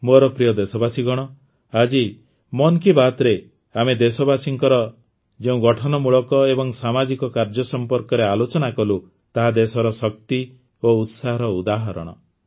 ମୋର ପ୍ରିୟ ଦେଶବାସୀଗଣ ଆଜି ମନ୍ କି ବାତ୍ରେ ଆମେ ଦେଶବାସୀଙ୍କର ଯେଉଁ ଗଠନମୂଳକ ଏବଂ ସାମାଜିକ କାର୍ଯ୍ୟ ସମ୍ପର୍କରେ ଆଲୋଚନା କଲୁ ତାହା ଦେଶର ଶକ୍ତି ଓ ଉତ୍ସାହର ଉଦାହରଣ